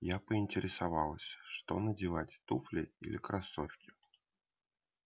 я поинтересовалась что надевать туфли или кроссовки